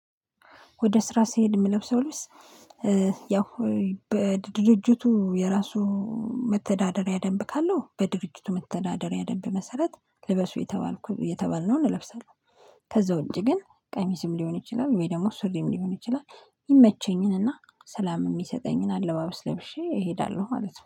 ወደ ስራ ስሄድ የምለብሰው ልብስ ያው በድርጅቱ የራሱ መተዳደሪያ ደንብ ካለው በድርጅቱ መተዳደሪያ ደንብ መሰረት ልበሱ የተባልኩ የተባልነውን ለብሰን። ከዛ ውጪ ግን ቀሚስም ሊሆን ይችላል ወይ ደግሞ ሱሪም ሊሆን ይችላል። ይሚመቸኝንና ሰላም የሚሰጠኝን አለባበስ ለብሼ እሄዳለሁ ማለት ነው